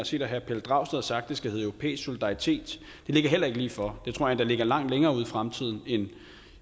set at herre pelle dragsted har sagt det skal hedde europæisk solidaritet det ligger heller ikke lige for det tror jeg endda ligger langt længere ude i fremtiden end